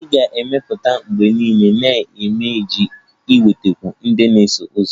Ị ga-ebipụta mgbe niile na ibe gị iji nwetakwuo ndị na-eso ụzọ